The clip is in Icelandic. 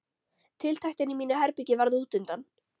Tiltektin í mínu herbergi varð útundan.